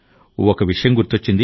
ఒక విషయం గుర్తొచ్చింది